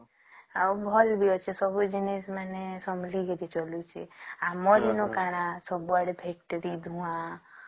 ଆଉ ଭଲ ବି ଅଛେ ଆଉ ସବୁ ଜିନିଷ ମାନେ ସମହାବଳିକି ଚାଲୁଚେ ଆମର ହିଁ କଣ ସବୁ ଆଡେ ଫେକ ଟେ ଧୁଆଂ